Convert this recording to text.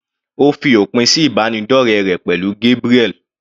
Ó fi òpin sí ìbánidọ́rẹ rẹ̀ pẹ̀lú Gabriel.